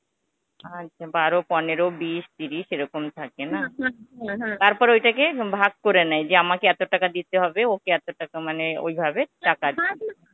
আচ্ছা, বারো পনেরো বিশ ত্রিশ এইরকম থাকে না তারপর ঐটাকে ভাগ করে নেয় যে আমাকে এত টাকা দিতে হবে ওকে এত টাকা মানে ঐভাবে টাকা